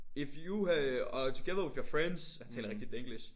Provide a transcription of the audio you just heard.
If you øh are together with your friends han taler rigtig danglish